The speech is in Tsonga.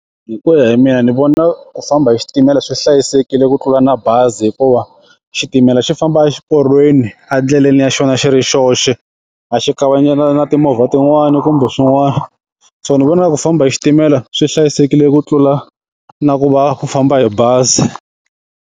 Hi ku ya hi mina ni vona ku famba hi xitimela swi hlayisekile ku tlula na bazi hikuva xitimela xi famba exiporweni a ndleleni ya xona xi ri xoxe a xi kavanyetani na timovha tin'wani kumbe swin'wana so ni vona ku famba hi xitimela swi hlayisekile ku tlula na ku va ku famba hi bazi.